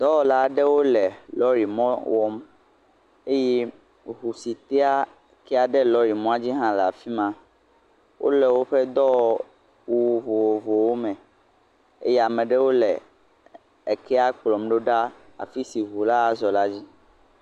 Dɔwɔla aɖewo le lɔrimɔ wɔm eye eŋu si tea kea ɖe lɔrimɔ dzi hã le afi ma, wole woƒe dɔwɔwu vovovowo me eye ame aɖewo le ekea kplɔm ɖo ɖa afi si ŋu la azɔ la dzi.